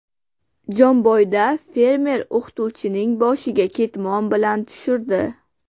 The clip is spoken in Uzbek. Jomboyda fermer o‘qituvchining boshiga ketmon bilan tushirdi.